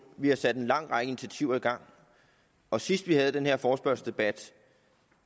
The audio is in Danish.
vi har sat en lang række initiativer i gang og sidst vi havde den her forespørgselsdebat